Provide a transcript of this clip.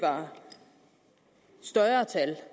større tal